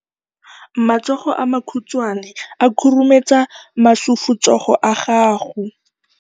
Matsogo a makhutshwane a khurumetsa masufutsogo a gago.